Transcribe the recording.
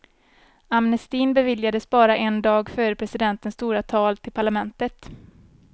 Amnestin beviljades bara en dag före presidentens stora tal till parlamentet.